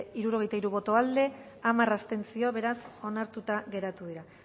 hirurogeita hiru boto aldekoa hamar abstentzio beraz onartuta geratu dira